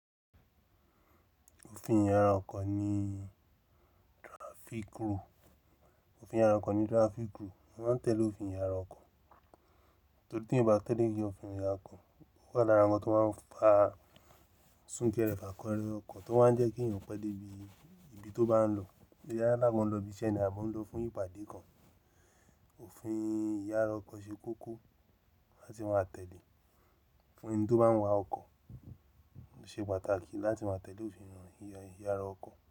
Òfin ìyára ọkọ̀ ní traffic rule. Òfin ìyára ọkọ̀ ni traffic rule. Wọ́n máa ń tẹ̀lé òfin ìyára ọkọ̀ torí tí èyan o bá tẹ́lẹ̀ òfin ìyára ọkọ̀, ó wà lára ohun tó máa ń fa súnkẹrẹ fàkọrẹ ọkọ̀ tó máa ń jẹ́ kí èèyàn pẹ́ dé ibi, ibi tó bá n lọ. Yala bo ń lọ ibi iṣẹ́ ni àbí ó ń lọ fún ìpàdé kan, òfin ìyára ọkọ̀ ṣe kókó láti máa tẹ̀lé. Fún ẹni tó bá ń wa ọkọ̀ ṣe pàtàkì láti máa tẹ̀lé òfin ìyára ọkọ̀